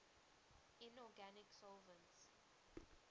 inorganic solvents